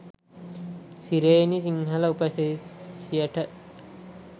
සුරේනි සිංහල උපසිරැසියට.